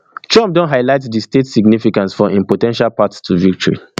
trump don highlight di state significance for im po ten tial path to victory